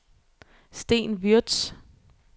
Sten Würtz